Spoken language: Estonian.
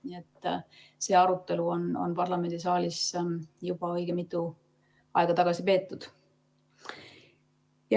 Nii et see arutelu on parlamendisaalis juba õige mitu aega tagasi peetud.